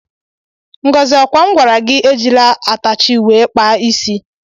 Ngọzi ọkwa m gwara gị ejila atachi wee kpaa isi?